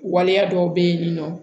Waleya dɔw bɛ yen nin nɔ